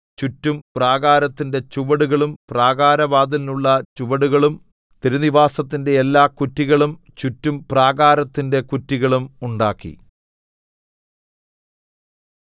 ചുറ്റും പ്രാകാരത്തിന്റെ ചുവടുകളും പ്രാകാരവാതിലിനുള്ള ചുവടുകളും തിരുനിവാസത്തിന്റെ എല്ലാകുറ്റികളും ചുറ്റും പ്രാകാരത്തിന്റെ കുറ്റികളും ഉണ്ടാക്കി